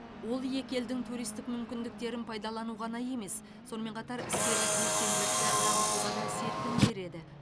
ол екі елдің туристік мүмкіндіктерін пайдалану ғана емес сонымен қатар іскерлік белсенділікті дамытуға да серпін береді